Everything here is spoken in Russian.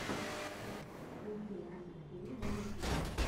включи русик тиви на ютюбе